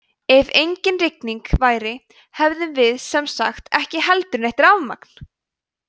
ef engin rigning væru hefðum við sem sagt ekki heldur neitt rafmagn!